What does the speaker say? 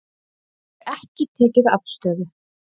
Hefur ekki tekið afstöðu